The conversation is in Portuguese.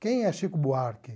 Quem é Chico Buarque?